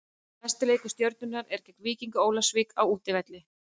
Næsti leikur Stjörnunnar er gegn Víkingi Ólafsvík á útivelli.